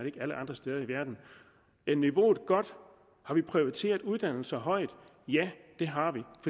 ikke alle andre steder i verden er niveauet godt har vi prioriteret uddannelse højt ja det har